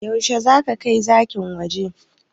Yaushe zaka kai zakin waje?